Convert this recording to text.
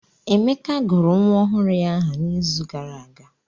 Emeka gụrụ nwa ọhụrụ ya aha n'izu gara aga.